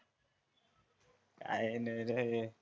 अर नाय रे